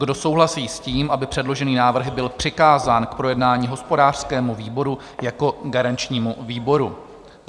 Kdo souhlasí s tím, aby předložený návrh byl přikázán k projednání hospodářskému výboru jako garančnímu výboru?